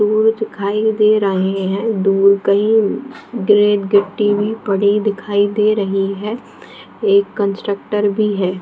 दिखाई दे रहे है दूर कही गिट्टी भी पड़ी दिखाई दे रही है एक कन्स्ट्रक्टर भी है।